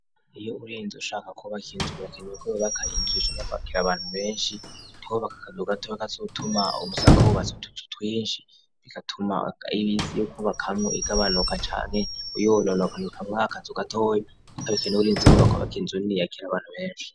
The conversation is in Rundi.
Iyo urinzi ushaka kubakinzunakenewko bbakayinjisha nakbakira abantu benshi tubbaka kanugatowe kazutuma umusanga wubatsi utututwinshi bigatuma ibisi yuko bakamwo igabanuka cane uyonuna gayuka mwakazu gatoyokobikena uburinzi bo bakobakinzuin'i yakira abantu benshi.